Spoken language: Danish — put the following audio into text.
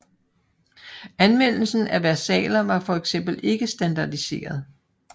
Anvendelsen af versaler var for eksempel ikke standardiseret